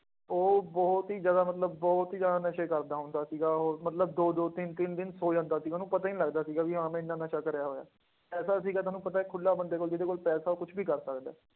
ਉਹ ਬਹੁਤ ਹੀ ਜ਼ਿਆਦਾ ਮਤਲਬ ਬਹੁਤ ਹੀ ਜ਼ਿਆਦਾ ਨਸ਼ੇ ਕਰਦਾ ਹੁੰਦਾ ਸੀਗਾ ਉਹ ਮਤਲਬ ਦੋ ਦੋ ਤਿੰਨ ਤਿੰਨ ਦਿਨ ਸੌ ਜਾਂਦਾ ਸੀ, ਉਹਨੂੰ ਪਤਾ ਹੀ ਨੀ ਲੱਗਦਾ ਸੀਗਾ ਵੀ ਹਾਂ ਮੈਂ ਇੰਨਾ ਨਸ਼ਾ ਕਰਿਆ ਹੋਇਆ, ਪੈਸਾ ਸੀਗਾ ਤੁਹਾਨੂੰ ਪਤਾ ਹੈ ਖੁੱਲਾ ਬੰਦੇ ਕੋਲ ਜਿਹਦੇ ਕੋਲ ਪੈਸਾ ਉਹ ਕੁਛ ਵੀ ਕਰ ਸਕਦਾ ਹੈ।